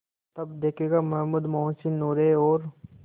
तब देखेगा महमूद मोहसिन नूरे और